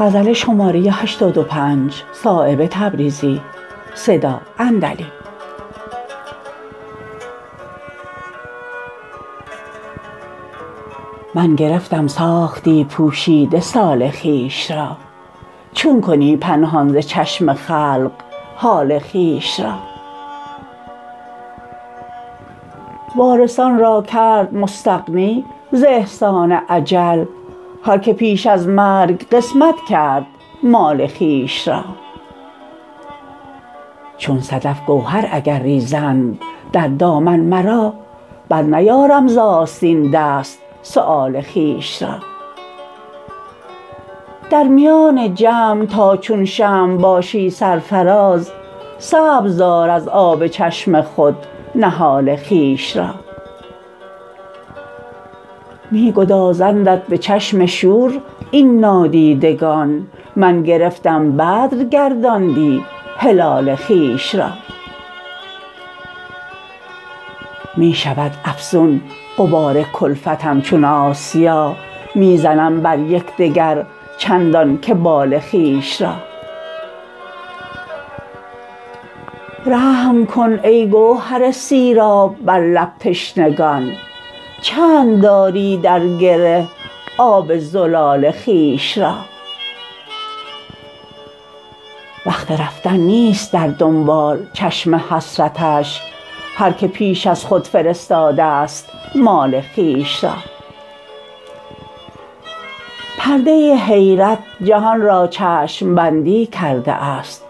من گرفتم ساختی پوشیده سال خویش را چون کنی پنهان ز چشم خلق حال خویش را وارثان را کرد مستغنی ز احسان اجل هر که پیش از مرگ قسمت کرد مال خویش را چون صدف گوهر اگر ریزند در دامن مرا برنیارم ز آستین دست سؤال خویش را در میان جمع تا چون شمع باشی سرفرازز سبزدار از آب چشم خود نهال خویش را می گدازندت به چشم شور این نادیدگان من گرفتم بدر گرداندی هلال خویش را می شود افزون غبار کلفتم چون آسیا می زنم بر یکدگر چندان که بال خویش را رحم کن ای گوهر سیراب بر لب تشنگان چند داری در گره آب زلال خویش را وقت رفتن نیست در دنبال چشم حسرتش هر که پیش از خود فرستاده است مال خویش را پرده حیرت جهان را چشم بندی کرده است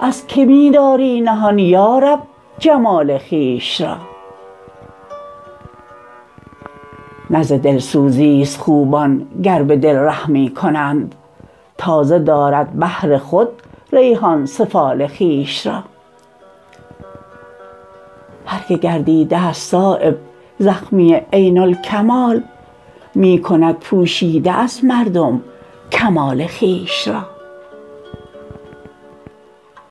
از که می داری نهان یارب جمال خویش را نه ز دلسوزی است خوبان گر به دل رحمی کنند تازه دارد بهر خود ریحان سفال خویش را هر که گردیده است صایب زخمی عین الکمال می کند پوشیده از مردم کمال خویش را